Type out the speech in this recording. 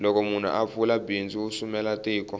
loko munhu a pfula bindzu u sumela tiko